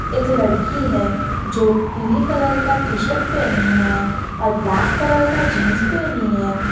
एक लड़की है जो पीली कलर का टी शर्ट पहनी है और ब्लैक कलर का जींस पहनी है।